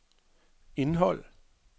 indhold